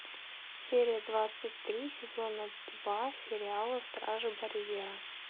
серия двадцать три сезона два сериала стражи барьера